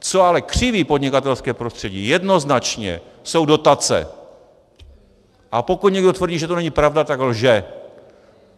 Co ale křiví podnikatelské prostředí jednoznačně, jsou dotace, a pokud někdo tvrdí, že to není pravda, tak lže.